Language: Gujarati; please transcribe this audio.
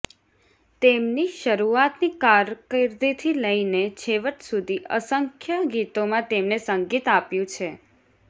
તેમની શરૂઆતની કારકિર્દીથી લઈને છેવટ સુધી અસંખ્ય ગીતોમાં તેમણે સંગીત આપ્યું છે